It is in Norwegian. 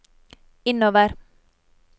innover